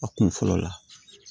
A kun fɔlɔ la